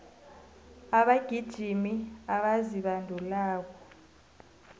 abagijimi abazibandulako